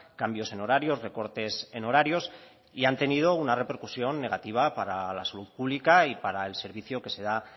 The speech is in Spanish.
cambios en horarios recortes en horarios y han tenido una repercusión negativa para la salud pública y para el servicio que se da